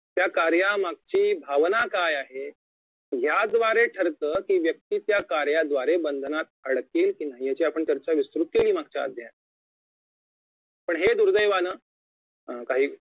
त्या कार्यामागची भावना काय आहे याद्वारे ठरत कि व्यक्ती त्या कार्याद्वारे बंधनात अडकेल कि नाही यांची आपण चर्चा विस्तृत केली मागच्या अध्यायात पण हे दुर्देवानं अं काही